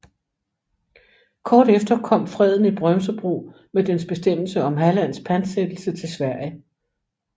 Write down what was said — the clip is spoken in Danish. Kort efter kom freden i Brömsebro med dens bestemmelse om Hallands pantsættelse til Sverige